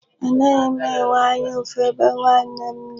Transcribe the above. Anaghị m enwe anya ụfụ ebe nwanne m nọ.